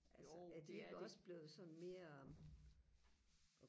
altså er de ikke også blevet sådan mere